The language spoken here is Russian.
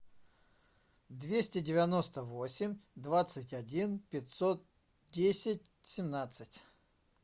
двести девяносто восемь двадцать один пятьсот десять семнадцать